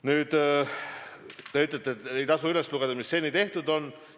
Nüüd, te ütlete, et ei tasu üles lugeda, mis seni tehtud on.